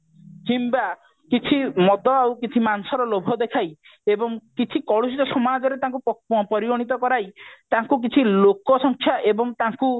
କିମ୍ବା କିଛି ମଦ ଏବଂ ମାଂସ ର ଲୋଭ ଦେଖାଇ ଏବଂ କିଛି କଳୁଷିତ ସମାଜରେ ତାଙ୍କୁ ପରିଗଣିତ କରାଇ ତାଙ୍କୁ କିଛି ଲୋକ ସଂଖ୍ୟା ଏବଂ ତାଙ୍କୁ